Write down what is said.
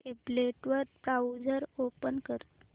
tablet वर browser open कर